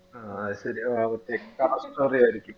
ആഹ് അതുശെരിയ ആഹ് okay ആയിരിക്കും